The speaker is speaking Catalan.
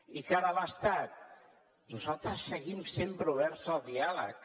i de cara a l’estat nosaltres seguim sempre oberts al diàleg